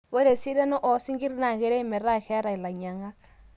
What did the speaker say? ore esidano oo sinkir naa keret metaa keeta ilainyiang'ak